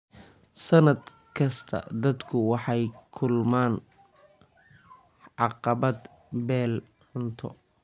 Sannad kasta, dadku waxay la kulmaan haqab-beel cunto.